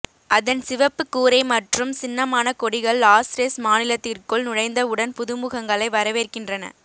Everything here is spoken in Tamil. அதன் சிவப்பு கூரை மற்றும் சின்னமான கொடிகள் லாஸ்ரெஸ் மாநிலத்திற்குள் நுழைந்தவுடன் புதுமுகங்களை வரவேற்கின்றன